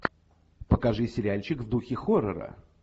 покажи сериальчик в духе хоррора